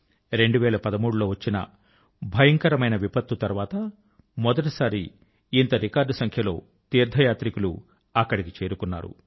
2013 లో వచ్చిన భయంకరమైన విపత్తు తర్వాత మొదటిసారి ఇంత రికార్డు సంఖ్య లో తీర్థ యాత్రికులు అక్కడికి చేరుకున్నారు